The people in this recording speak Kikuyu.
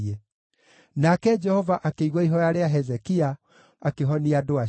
Nake Jehova akĩigua ihooya rĩa Hezekia, akĩhonia andũ acio.